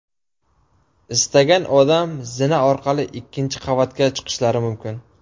Istagan odam zina orqali ikkinchi qavatga chiqishlari mumkin.